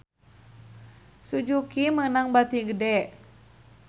Suzuki meunang bati gede